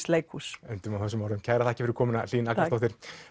leikhús endum á þessum orðum kærar þakkir fyrir komuna Hlín Agnarsdóttir